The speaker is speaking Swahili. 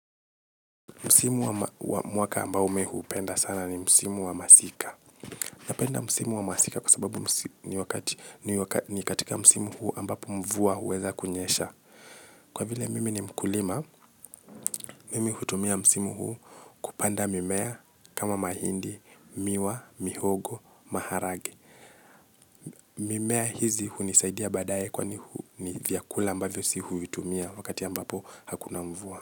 Msimu wa mwaka amboa mimi hupenda sana ni msimu wa masika. Napenda msimu wa masika kwa sababu ni katika msimu huu ambapo mvua huweza kunyesha. Kwa vile mimi ni mkulima, mimi hutumia msimu huu kupanda mimea, kama mahindi, miwa, mihogo, maharage. Mimea hizi hunisaidia baadaye kwani ni vyakula ambavyo sisi huvitumia wakati ambapo hakuna mvua.